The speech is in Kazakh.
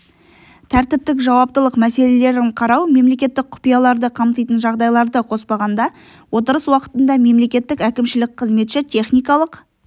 тәртіптік жауаптылық мәселелерін қарау мемлекеттік құпияларды қамтитын жағдайларды қоспағанда отырыс уақытында мемлекеттік әкімшілік қызметші техникалық